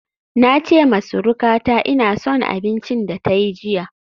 Na ce wa surukata ina son abincin da ta yi jiya